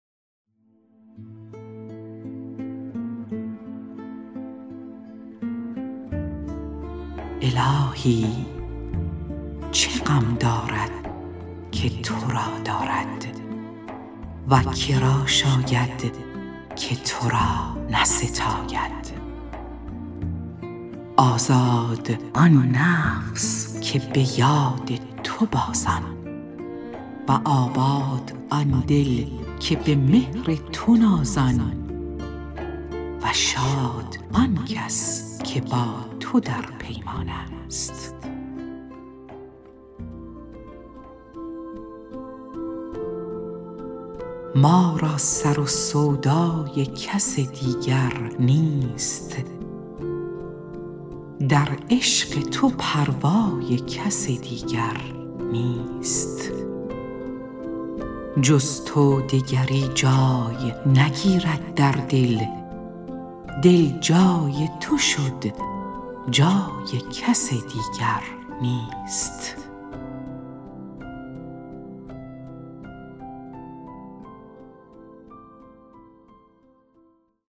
الهی چه غم دارد که تو را دارد و کرا شاید که تو را نستاید آزادا آن نفس که بیاد تو بازان و آباد آن دل که بمهر تو نازان و شاد آن کس که با تو در پیمان است ما را سر و سودای کس دیگر نیست در عشق تو پروای کس دیگر نیست جز تو دگری جای نگیرد در دل دل جای تو شد جای کس دیگر نیست